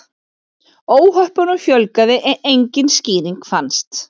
Óhöppunum fjölgaði en engin skýring fannst.